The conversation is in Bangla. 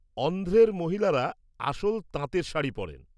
অন্ধ্রের মহিলারা আসল তাঁতের শাড়ি পরেন।